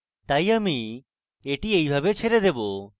তাই আমি এটি এইভাবে ছেড়ে দেবো